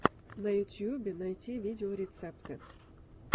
на ютубе найти видеорецепты